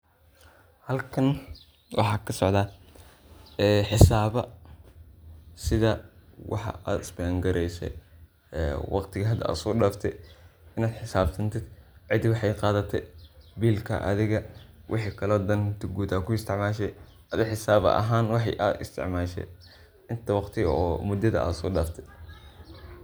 halkan waxaa kasocdaa ee xisaaba sida waxad isbengareyse ee waqtiga hada ay soo dhafte in ad xisabtantin cida waxaay qadate bilka adiga wixii kale ad danta guud ku isticmaashe, adi xisab ahan wixi ad isticmaashe inta waqti oo mudada ad soo dhafte